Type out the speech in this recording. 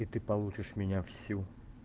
и ты получишь меня всю